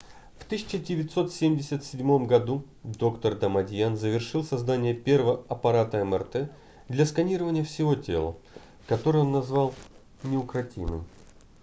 в 1977 году доктор дамадьян завершил создание первого аппарата мрт для сканирования всего тела который он назвал неукротимый